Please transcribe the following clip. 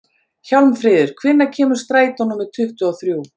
Hjálmfríður, hvenær kemur strætó númer tuttugu og þrjú?